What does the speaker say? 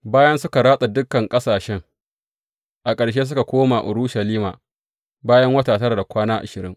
Bayan suka ratsa dukan ƙasashen, a ƙarshe suka koma Urushalima, bayan wata tara da kwana ashirin.